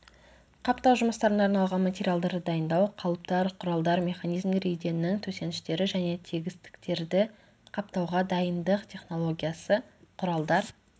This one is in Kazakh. қаптау жұмыстарына арналған материалдарды дайындау қалыптар құралдар механизмдер еденнің төсеніштері және тегістіктерді қаптауға дайындық технологиясы құралдар